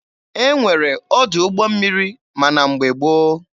E nwere ọdụ ụgbọ mmiri ma na mgbe gboo.